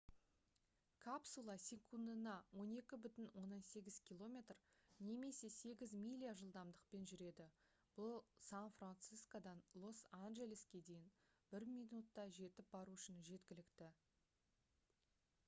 капсула секундына 12,8 км немесе 8 миля жылдамдықпен жүреді бұл сан-франсискодан лос-анжелеске дейін бір минутта жетіп бару үшін жеткілікті